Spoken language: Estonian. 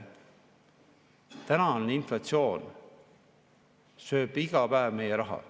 Täna on inflatsioon, mis sööb iga päev meie raha.